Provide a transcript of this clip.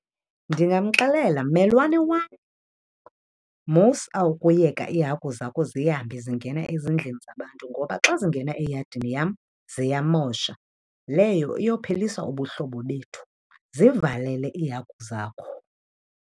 Ndingamxelela, mmelwane wam, musa ukuyeka iihagu zakho zihambe zingena ezindlini abantu ngoba xa zingena eyadini yam ziyamosha. Leyo iyophelisa ubuhlobo bethu. Zivalele iihagu zakho.